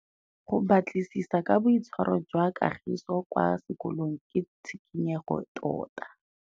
Go batlisisa ka boitshwaro jwa Kagiso kwa sekolong ke tshikinyêgô tota.